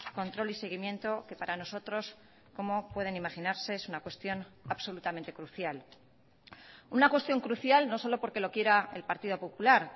control y seguimiento que para nosotros como pueden imaginarse es una cuestión absolutamente crucial una cuestión crucial no solo porque lo quiera el partido popular